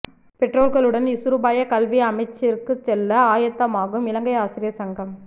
பெற்றோர்களுடன் இசுருபாய கல்வி அமைச்சிற்கு செல்ல ஆயத்தமாகும் இலங்கை ஆசிரியர் சங்கம்